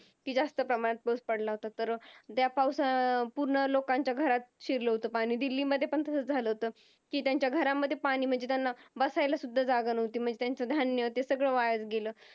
कि जास्त प्रमाणात पाऊस पडला होता तर त्या पावसात पूर्ण लोकांच्या घरात शिरल होत पाणी दिल्लीमध्ये पण तसाच झाला होत कि त्यांच्या घरामध्ये पाणी म्हणजे त्यांना बसायला सुद्धा जागा नव्हती म्हणजे त्याच धान्य ते सगळं वाया गेल